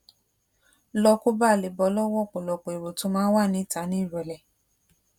lọ kó baà lè bọ́ lọ́wọ́ ọ̀pọ̀lọpọ̀ èrò tó máa ń wà níta ní ìrọ̀lẹ́